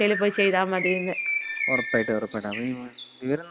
ഒറപ്പായിട്ടും ഒറപ്പായിട്ടും വിവരം നൽകിയതിന് സന്തോഷം.